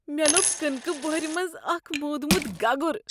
مےٚ لوٚب کٕنکہٕ بۄہر منز اکھ مودمت گگر۔